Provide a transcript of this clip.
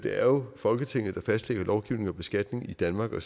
er jo folketinget der fastlægger lovgivningen om beskatning i danmark og